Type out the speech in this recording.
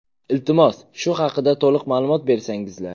Iltimos, shu haqda to‘liq ma’lumot bersangizlar”.